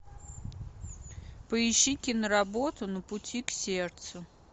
поищи киноработу на пути к сердцу